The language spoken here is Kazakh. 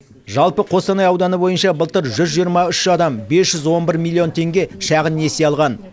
жалпы қостанай ауданы бойынша былтыр жүз жиырма үш адам бес жүз он бір миллион теңге шағын несие алған